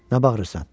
Nə bağırırsan?